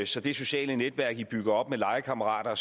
så det sociale netværk i bygger op med legekammerater og